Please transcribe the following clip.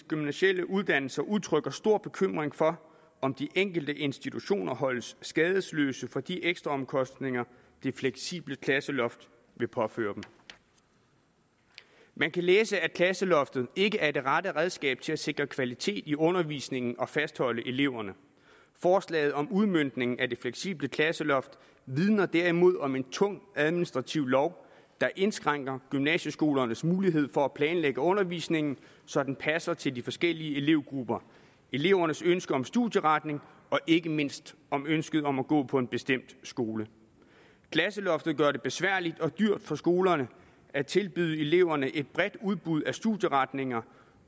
gymnasiale uddannelser udtrykker stor bekymring for om de enkelte institutioner holdes skadesløse for de ekstra omkostninger det fleksible klasseloft vil påføre dem man kan læse at klasseloftet ikke er det rette redskab til at sikre kvalitet i undervisningen og til at fastholde eleverne forslaget om udmøntning af det fleksible klasseloft vidner derimod om en tung administrativ lov der indskrænker gymnasieskolernes mulighed for at planlægge undervisningen så den passer til de forskellige elevgrupper elevernes ønske om studieretning og ikke mindst ønske om at gå på en bestemt skole klasseloftet gør det besværligt og dyrt for skolerne at tilbyde eleverne et bredt udbud af studieretninger